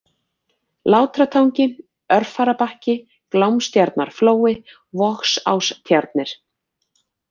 Látratangi, Örfararbakki, Glámstjarnarflói, Vogsástjarnir